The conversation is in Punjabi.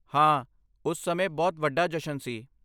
ਹਾਂ, ਉਸ ਸਮੇਂ ਬਹੁਤ ਵੱਡਾ ਜਸ਼ਨ ਸੀ।